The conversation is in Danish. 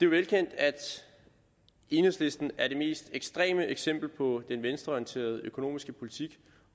velkendt at enhedslisten er det mest ekstreme eksempel på den venstreorienterede økonomiske politik